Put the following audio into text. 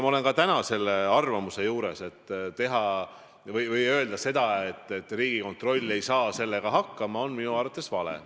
Ma olen ka täna selle arvamuse juures: öelda seda, et Riigikontroll ei saa sellega hakkama, on minu arvates vale.